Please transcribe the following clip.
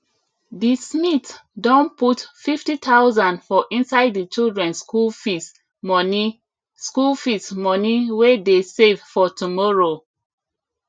the smith don put 50000 for inside the children school fees money school fees money wey dey save for tomorrow